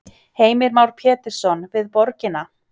Heimir Már Pétursson: Við borgina?